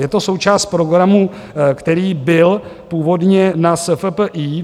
Je to součást programu, který byl původně na SFPI -